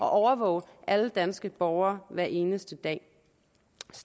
at overvåge alle danske borgere hver eneste dag